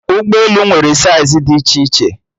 Ụgbọelu nwere saiz dị iche iche